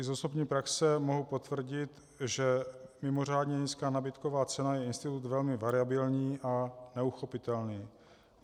I z osobní praxe mohu potvrdit, že mimořádně nízká nabídková cena je institut velmi variabilní a neuchopitelný.